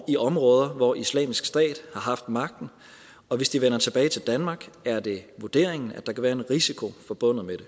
i områder hvor islamisk stat har haft magten og hvis de vender tilbage til danmark er det vurderingen at der kan være en risiko forbundet med